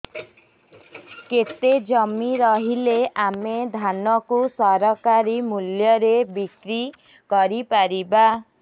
କେତେ ଜମି ରହିଲେ ଆମେ ଧାନ କୁ ସରକାରୀ ମୂଲ୍ଯରେ ବିକ୍ରି କରିପାରିବା